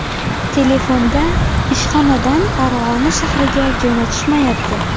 Telefonda, ‘Ishxonadan Farg‘ona shahriga jo‘natishyapti.